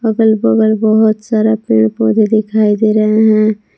अगल बगल बहुत सारा पेड़ पौधे दिखाई दे रहे हैं।